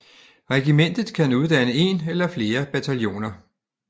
Regimentet kan uddanne én eller flere bataljoner